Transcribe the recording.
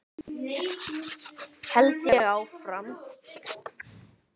held ég áfram.